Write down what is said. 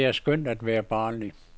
Det er skønt at være barnlig.